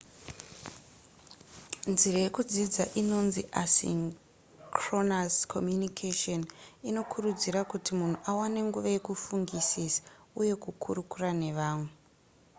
nzira yekudzidza inonzi asynchronous communication inokurudzira kuti munhu awane nguva yekufungisisa uye kukurukura nevamwe